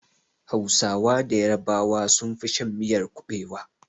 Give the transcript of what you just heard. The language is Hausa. Da hausawa da yarabawa sun fi shan miyar kuɓewa